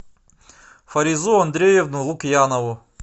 фаризу андреевну лукьянову